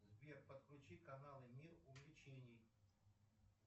сбер подключи каналы мир увлечений